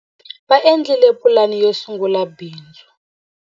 Va endlile pulani yo sungula bindzu.